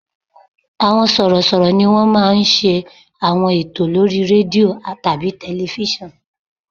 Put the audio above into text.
Àwọn sọ̀rọ̀ṣọ̀rọ̀ ni wọ́n máa ń ṣe àwọn ètò lórí rédíò tàbí tẹlifísàn